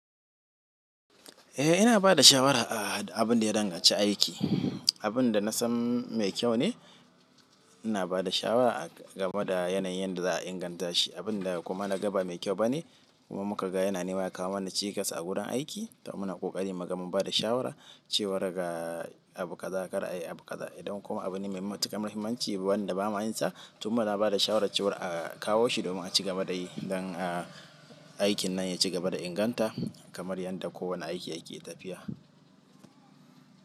Eh ina bada shawara a abun da ya danganci aiki, abun da na san mai kyau ne ina ba da shawara game da yanayin yanda za'a inganta shi. Abun da kuma naga ba mai kyau bane kuma muka ga yana neman ya kawo mana cikas a gurin aiki, to muna ƙoƙari mu ga mun bada shawara cewar ga abu kaza kar a yi abu kaza, idan kuma abu ne mai matuƙar muhimmanci wanda ba ma yin sa, to muna bada shawara cewar a kawo shi domin a ci gaba da yi don a aikin nan ya ci gaba da inganta kamar yanda kowane aiki yake tafiya.